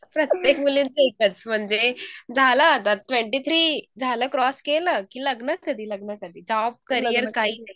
प्रत्येक मुलीचं एकच म्हणजे झालं आता ट्वेन्टी थ्री झालं क्रॉस केलं की लग्न कधी लग्न कधी जॉब करियर काही नाही